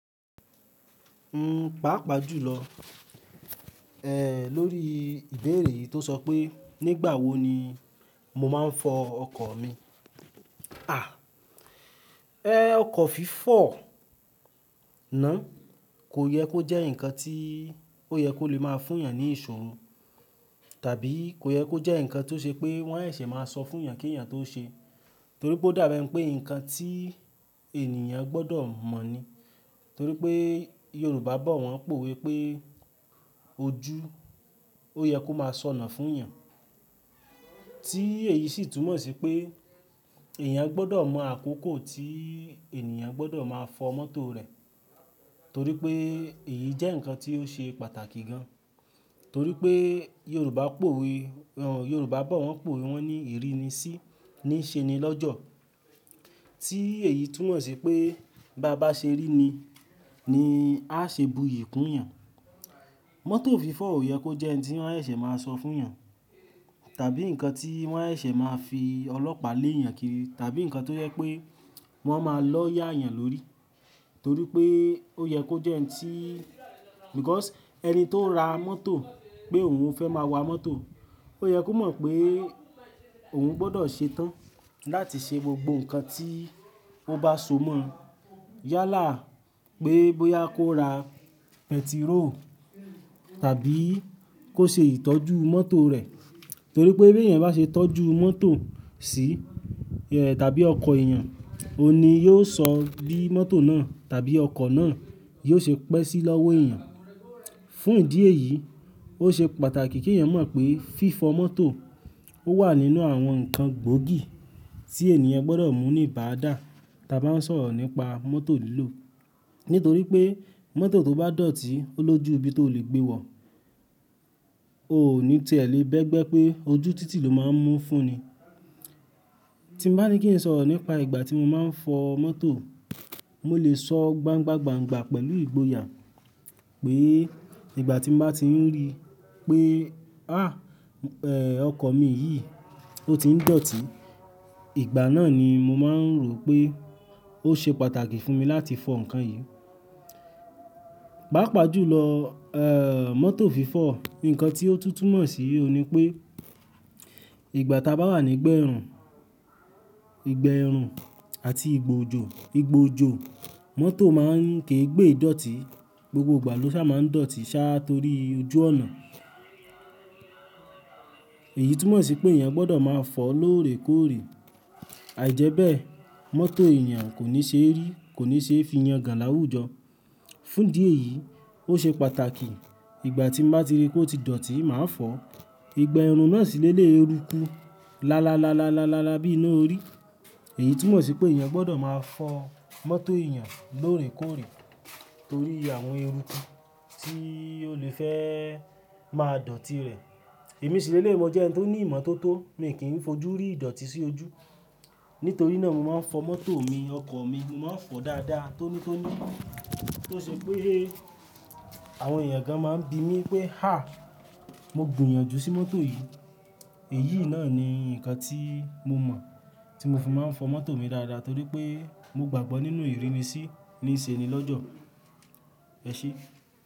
Pàápàá jùlọ, lórí ìbéèrè yi tó sọ pé nígbà wo ni mo máa ń fọ ọkọ̀ mi. À, ẹ́, ọkọ̀ fífọ̀ náà kò yẹ kó jẹ́ ǹnkan tí ó yẹ kó lè máa fún èèyàn ní ìṣòro, tàbí kò yẹ kó jẹ́ ǹnkan tó ṣe pé wọn seṣe máa sọ fún èèyàn kí èèyàn tó ṣe. Torí pé ó dàbẹ́ nipé ǹnkan tí ènìyàn gbọ́dọ̀ mọ̀ ni. Torí pé Yorùbá bọ̀ wọ́n powe pe ojú, ó yẹ kó máa sọnà fún èèyàn. Tí èyí sì túmọ̀ sí pé èèyàn gbọ́dọ̀ mọ àkókò tí èèyàn gbọ́dọ̀ máa fọ mọ́tò rẹ̀. Torí pé èyí jẹ́ ǹnkan tí ó ṣe pàtàkì gan. Torí pé Yorùbá powé, Yorùbá bọ̀ wọ́n powe wọ́n ní ìrínisí níṣẹni lọ́jọ́. Tí èyí túmọ̀ sí pé bá bá ṣe ríni ni á ṣe bu iyì kún èèyàn. Mọ́tò fífọ̀ ò yẹ kó jẹ́ n tí wọn seṣe máa sọ fún èèyàn, tàbí ǹnkan tí wọn seṣe máa fi ọlọ́pàá lé èèyàn kiri, tàbí ǹnkan tó jẹ pé wọn máa lọ yà èèyàn lórí. Torí pé ó yẹ kó jẹ́ ǹ tí, because ẹni tó ra mọ́tò pé òun fẹ́ máa wa mọ́tò, ó yẹ kó mọ̀ pé òun gbọ́dọ̀ ṣetán láti ṣe gbogbo ǹnkan tí ó bá so mọ̀. Yálà pé bóyá kó ra pẹtiró tàbí kó ṣe ìtọ́jú mọ́tò rẹ̀. Torí pé bí èèyàn bá ṣe tọ́jú mọ́tò sí, tàbí ọkọ̀ èèyàn, òun ni yóò sọ bí mọ́tò náà tàbí ọkọ̀ náà yóò ṣe pẹ́ sí lọ́wọ́ èèyàn. Fún ìdí èyí, ó ṣe pàtàkì kí èèyàn mọ̀ pé fífọ mọ́tò ó wà nínú àwọn ǹnkan gbóògì tí èniyan gbọ́dọ̀ mú ní ibáàdà ta bá ń sọ̀rọ̀ nípa mọ́tò lílò. Nítorí pé mọ́tò tó bá dọ̀tí ó lójú ibi tó le gbé wọ, ò ní tiẹ́ lẹ̀ bẹ́ẹ̀ gbẹ́ pé ojú títì lo máa ń mú fúnni. Ti ń bá ní kí n sọ̀rọ̀ nípa ìgbà tí mo máa ń fọ mọ́tò, mo lè sọ gbángba gbángba pẹ̀lú ìgboyà pé ìgbà tí mo bá ti ń rí i pé, háà, ẹ́, ọkọ̀ mi yìí ó ti ń dọ̀tí, ìgbà náà ni mo máa ń rò pé ó ṣe pàtàkì fún mi láti fọ ǹkan yìí. Pàápàá jùlọ, mọ́tò fífọ́, ǹnkan tí ó tú túmo mọ̀ sí i òhun nipé ìgbà táa bá wà nígba ẹ̀run, ìgba ẹrun àti ìgba ojò, ìgba òjò mọ́tò máa ń ké gbé dọ̀tí, gbogbo ìgbà ló sà máa ń dọ̀tí sáá torí ojú ọ̀nà. Èyí túmọ̀ sí pé èèyàn gbọ́dọ̀ máa fọ lóòrèkóòrè. Àìjẹ́bẹ́ mọ́tò èèyàn kò ní ṣe rí, kò ní ṣe fiyàn gàn láwùjọ. Fún ìdí èyí, ó ṣe pàtàkì ìgbà tí n bá ti rí i pé ó ti dọ̀tí, màá fọ. Ìgba ẹrun náà sì le léyii eru kú lálálálá bí iná orí. Èyí túmọ̀ sí pé èèyàn gbọ́dọ̀ máa fọ mọ́tò èèyàn lóòrèkóòrè torí àwọn eruku tí ó lè fẹ́ máa dọ̀tí rẹ̀. Èmi ṣi leleyii mo jẹ́ ẹni tó ní ìmọ̀tótó, mi kì n fojú rí ìdọ̀tí sí ojú. Nítorí náà mo máa ń fọ mọ́tò mi, ọkọ̀ mi, mo máa ń fọ dáadáa, tónítóní. Tó ṣe pé àwọn èèyàn gan máa ń bi mí pé, háà, mo gbìyànjú sí mọ́tò yìí. Èyí náà ni ǹnkan tí mo mọ̀, tí mo fi máa ń fọ mọ́tò mi dáadáa torí pé mo gbàgbọ́ nínú ìrínisí níṣẹni lọ́jọ́. Ẹ ṣé.